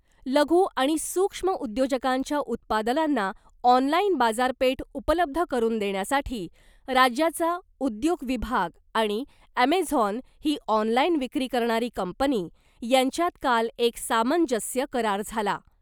लघु आणि सूक्ष्म उद्योजकांच्या उत्पादनांना ऑनलाईन बाजारपेठ उपलब्ध करुन देण्यासाठी राज्याचा उद्योग विभाग आणि ॲमेझॉन ही ऑनलाईन विक्री करणारी कंपनी यांच्यात काल एक सामंजस्य करार झाला .